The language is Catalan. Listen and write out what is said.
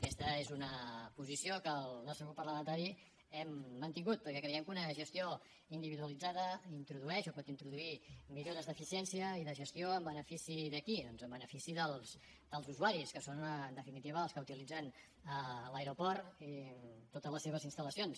aquesta és una posició que el nostre grup parlamentari hem mantingut perquè creiem que una gestió individualitzada introdueix o pot introduir millores d’eficiència i de gestió en benefici de qui doncs en benefici dels usuaris que són en definitiva els que utilitzen l’aeroport i totes les seves instal·lacions